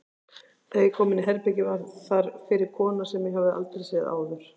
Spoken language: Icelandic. Þegar ég kom inní herbergið var þar fyrir kona sem ég hafði aldrei séð áður.